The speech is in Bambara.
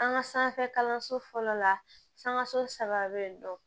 An ka sanfɛ kalanso fɔlɔ la sankaso saba bɛ yen nɔ